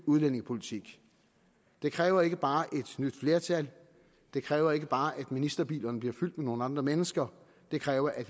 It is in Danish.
udlændingepolitik det kræver ikke bare et nyt flertal det kræver ikke bare at ministerbilerne bliver fyldt med nogle andre mennesker det kræver at